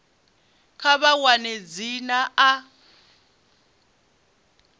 kha vha wane dzina a